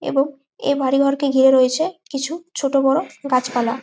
এবং এই বাড়ি ঘরকে গিরে রয়েছে কিছু ছোট বোরো গাছ পালা।